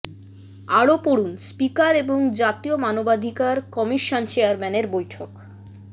আরো পড়ুন স্পিকার এবং জাতীয় মানবাধিকার কমিশন চেয়ারম্যানের বৈঠক